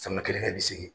Sanga kelen kɛ bi segi